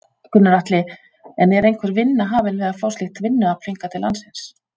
Gunnar Atli: En er einhver vinna hafin við að fá slíkt vinnuafl hingað til landsins?